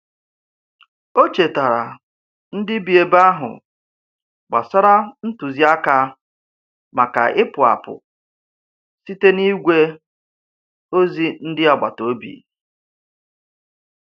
O chetaara ndị bi ebe ahụ gbasara ntụziaka maka ịpụ apụ site n'igwe ozi ndị agbataobi.